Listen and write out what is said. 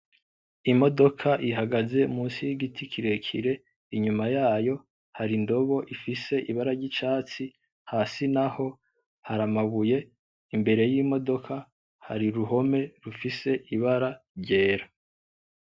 Imodoka ihagaze munsi y'igiti kirekire, inyuma yayo hari indobo ifise ibara ry'icatsi, hasi naho hari amabuye, imbere y'imodoka hari uruhome rufise ibara ryera.